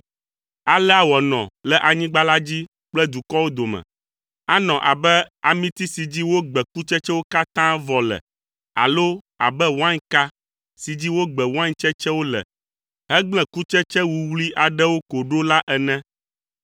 Alea wòanɔ le anyigba la dzi kple dukɔwo dome. Anɔ abe amiti si dzi wogbe kutsetsewo katã vɔ le alo abe wainka si dzi wogbe wain tsetsewo le hegble kutsetse wuwlui aɖewo ko ɖo la ene.